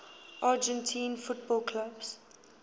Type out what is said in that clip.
argentine football clubs